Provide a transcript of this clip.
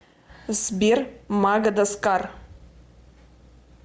сбер магадаскар